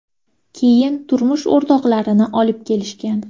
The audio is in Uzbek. Keyin turmush o‘rtoqlarini olib kelishgan.